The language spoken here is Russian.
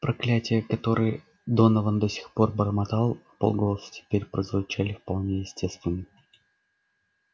проклятие которые донован до сих пор бормотал вполголоса теперь прозвучали вполне естественно